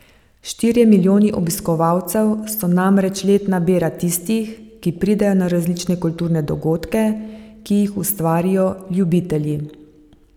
Štirje milijoni obiskovalcev so namreč letna bera tistih, ki pridejo na različne kulturne dogodke, ki jih ustvarijo ljubitelji.